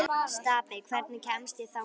Stapi, hvernig kemst ég þangað?